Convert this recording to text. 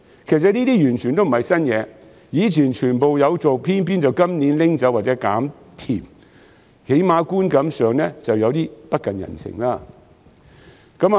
這些措施以前全部都有做，但偏偏在今年取消或"減甜"，起碼觀感上顯得有點不近人情。